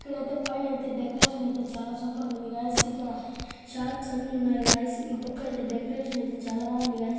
ఇక్కడ అయితే పైన అయితే డెకరేషన్ అయితే చాలా సూపర్ గా ఉంది గైస్ ఇక్కడ షార్ట్స్ అన్ని ఉన్నాయి గైస్ ఈ పక్కైతే డెకరేషన్ అయితే చాలా బాగుంది గైస్ .